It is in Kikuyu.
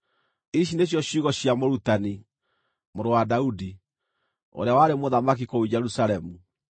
Ici nĩcio ciugo cia Mũrutani, mũrũ wa Daudi, ũrĩa warĩ mũthamaki kũu Jerusalemu: